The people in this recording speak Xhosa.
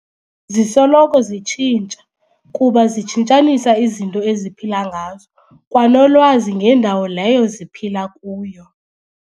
Zisoloko zitshintsha, kuba zitshintshanisa izinto eziphila ngazo, kwanolwazi ngendawo leyo ziphila kuyo.